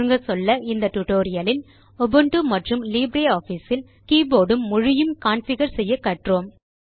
சுருங்கச்சொல்ல இந்த டியூட்டோரியல் லில் உபுண்டு மற்றும் லிப்ரியாஃபிஸ் இல் கீபோர்ட் உம் மொழியும் கான்ஃபிகர் செய்ய கற்றோம்